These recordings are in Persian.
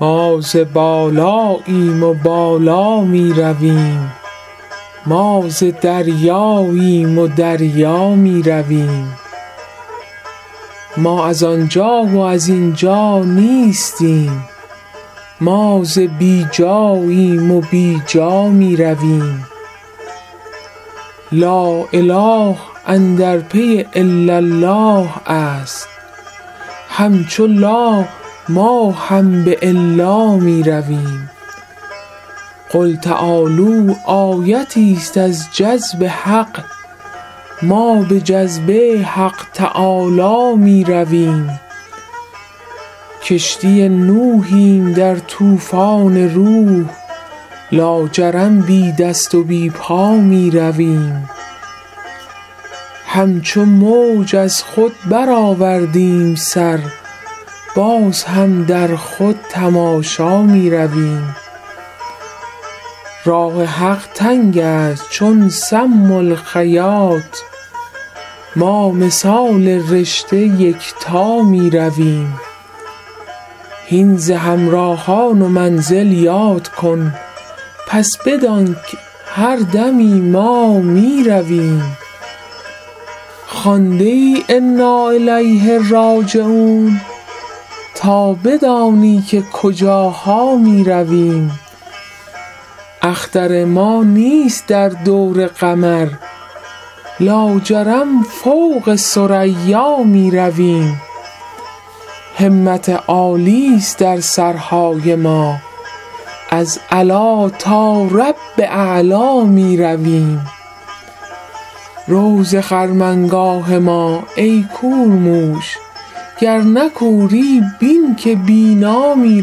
ما ز بالاییم و بالا می رویم ما ز دریاییم و دریا می رویم ما از آن جا و از این جا نیستیم ما ز بی جاییم و بی جا می رویم لااله اندر پی الالله است همچو لا ما هم به الا می رویم قل تعالوا آیتیست از جذب حق ما به جذبه حق تعالی می رویم کشتی نوحیم در طوفان روح لاجرم بی دست و بی پا می رویم همچو موج از خود برآوردیم سر باز هم در خود تماشا می رویم راه حق تنگ است چون سم الخیاط ما مثال رشته یکتا می رویم هین ز همراهان و منزل یاد کن پس بدانک هر دمی ما می رویم خوانده ای انا الیه راجعون تا بدانی که کجاها می رویم اختر ما نیست در دور قمر لاجرم فوق ثریا می رویم همت عالی است در سرهای ما از علی تا رب اعلا می رویم رو ز خرمنگاه ما ای کورموش گر نه کوری بین که بینا می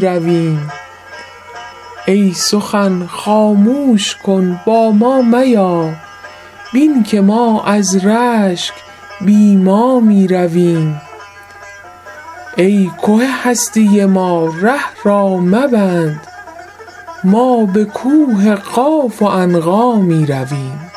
رویم ای سخن خاموش کن با ما میا بین که ما از رشک بی ما می رویم ای که هستی ما ره را مبند ما به کوه قاف و عنقا می رویم